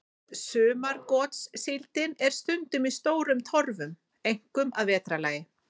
Sumargotssíldin er stundum í stórum torfum, einkum að vetrarlagi.